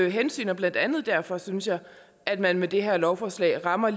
hensyn blandt andet derfor synes jeg at man med det her lovforslag rammer